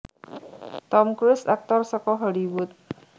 Tom Cruise Aktor saka Hollywood